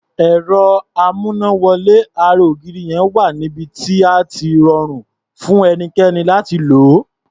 Ẹ̀rọ amúnáwọlé ara ògiri yẹn wà níbi tí á ti rọrùn fún ẹnikẹ́ni láti lò ó.